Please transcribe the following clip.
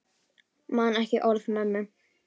Man ekki orð mömmu.